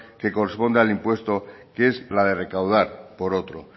que corresponda al impuesto que es la de recaudar por otro